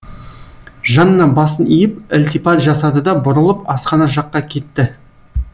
жанна басын иіп ілтипат жасады да бұрылып асхана жаққа кетті